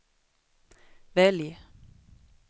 välj